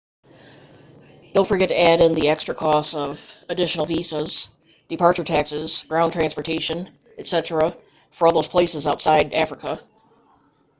don't forget to add in the extra costs of additional visas departure taxes ground transportation etc for all those places outside of africa